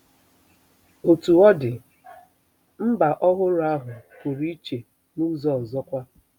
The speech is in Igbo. Otú ọ dị, mba ọhụrụ ahụ pụrụ iche n'ụzọ ọzọkwa.